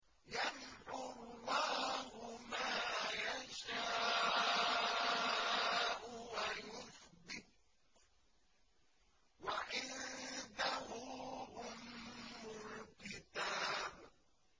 يَمْحُو اللَّهُ مَا يَشَاءُ وَيُثْبِتُ ۖ وَعِندَهُ أُمُّ الْكِتَابِ